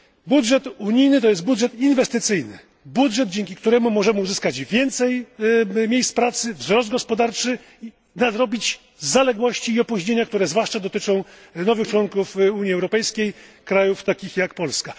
Budżet unijny to jest budżet inwestycyjny, dzięki któremu możemy uzyskać więcej miejsc pracy, wzrost gospodarczy, nadrobić zaległości i opóźnienia, które zwłaszcza dotyczą nowych członków Unii Europejskiej, krajów takich jak Polska.